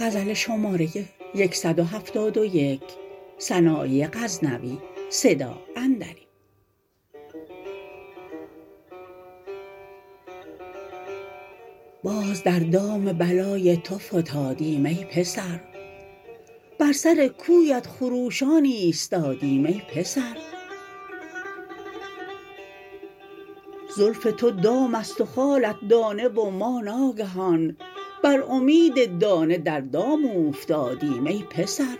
باز در دام بلای تو فتادیم ای پسر بر سر کویت خروشان ایستادیم ای پسر زلف تو دام است و خالت دانه و ما ناگهان بر امید دانه در دام اوفتادیم ای پسر